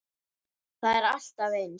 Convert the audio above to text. Það var alltaf eins.